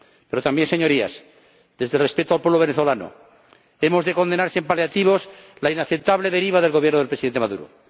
Pero también, Señorías, desde el respeto al pueblo venezolano, hemos de condenar sin paliativos la inaceptable deriva del Gobierno del Presidente Maduro.